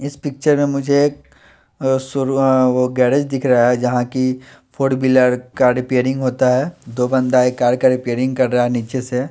इस पिक्चर में मुझे सो रू आ गैरेज दिख रहा हैं जहां कि फोर व्हीलर का रिपेयरिंग होता हैं दो बंदा एक कार का रिपेयरिंग कर रहा हैं नीचे से--